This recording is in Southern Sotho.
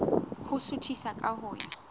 ho suthisa ka ho ya